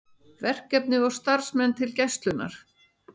Verkefni og starfsmenn til Gæslunnar